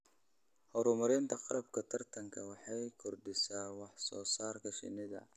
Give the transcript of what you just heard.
Horumarinta qalabka taranta waxay kordhisaa wax soo saarka shinnida.